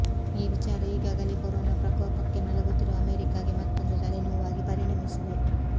ಈ ವಿಚಾರ ಈಗಾಗಲೇ ಕೊರೋನಾ ಪ್ರಕೋಪಕ್ಕೆ ನಲುಗುತ್ತಿರುವ ಅಮೆರಿಕಾಗೆ ಮತ್ತೊಂದು ತಲೆನೋವಾಗಿ ಪರಿಣಮಿಸಿದೆ